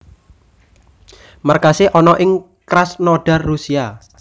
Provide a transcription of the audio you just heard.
Markasé ana ing Krasnodar Rusia